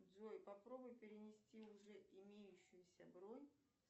джой попробуй перенести уже имеющуюся бронь